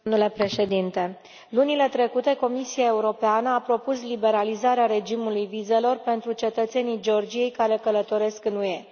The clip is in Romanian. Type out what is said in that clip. Domnule președinte, lunile trecute Comisia Europeană a propus liberalizarea regimului vizelor pentru cetățenii Georgiei care călătoresc în UE.